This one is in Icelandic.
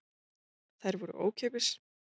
Þær voru ókeypis.